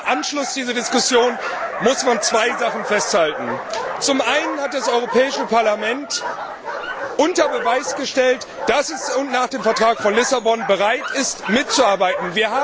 Ich glaube, im Anschluss an diese Diskussion muss man zwei Sachen festhalten. Zum einen hat das Europäische Parlament unter Beweis gestellt, dass es nach dem Vertrag von Lissabon bereit ist, mitzuarbeiten.